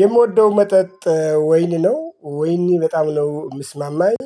የምወደው መጠጥ ወይን ነው ወይን በጣም ነው የሚስማማኝ